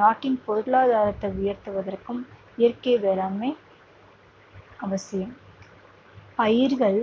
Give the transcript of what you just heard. நாட்டின் பொருளாதாரத்தை உயர்த்துவதற்கும் இயற்கை வேளாண்மை அவசியம் பயிர்கள்